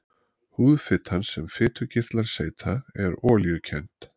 Húðfitan sem fitukirtlar seyta er olíukennd.